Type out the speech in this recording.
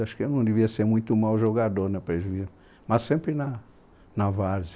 Acho que eu não devia ser muito mau jogador na mas sempre na, na várzea